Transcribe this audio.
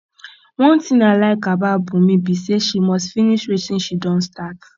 one thing i like about bunmi be say she must finish wetin she don start